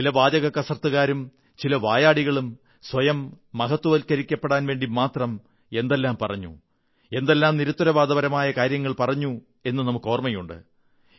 ചില വാചകക്കസർത്തുകാരും ചില വായാടികളും സ്വയം മഹത്വവത്കരിക്കപ്പെടാൻ വേണ്ടി മാത്രം എന്തെല്ലാം പറഞ്ഞു എന്തെല്ലാം നിരുത്തരവാദപരമായ കാര്യങ്ങൾ പറഞ്ഞു എന്നു നമുക്കോർമ്മയുണ്ട്